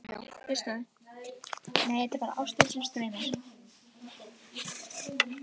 Lára: Og þetta er ekkert að líða hjá?